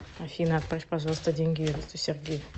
афина отправь пожалуйста деньги юристу сергею